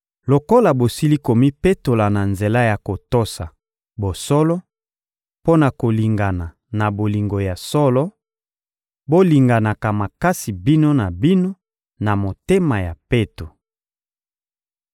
Lokola bosili komipetola na nzela ya kotosa bosolo mpo na kolingana na bolingo ya solo, bolinganaka makasi bino na bino, na motema ya peto.